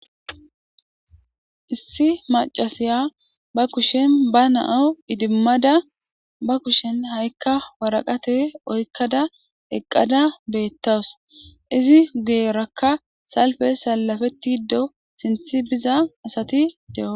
issi macasiya ba kushen ba na'o idimmada ba kushen ha'ikka waraqate oykkada eqqada beettawus izi geerakka salfe salafeti do sinth biza asati de'o